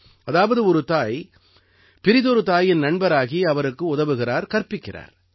அதாவது ஒரு தாய் பிறிதொரு தாயின் நண்பராகி அவருக்கு உதவுகிறார் கற்பிக்கிறார்